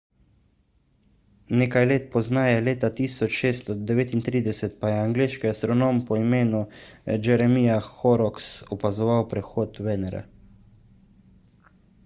nekaj let pozneje leta 1639 pa je angleški astronom po imenu jeremiah horrocks opazoval prehod venere